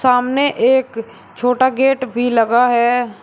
सामने एक छोटा गेट भी लगा है।